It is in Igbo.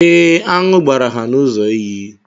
Ee, aṅụ gbara ha n'ụzọ iyi